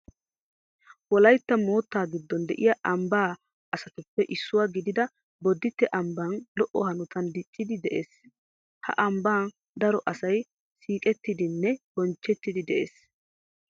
Wolaytta moottaa giddon de'iya ambbaa aysotuppe issuwa gidida bodditte ambbay lo"o hanotan dicciiddi de'ees. Ha ambban daro asay siiqettidinne bonchchettidi de'ees.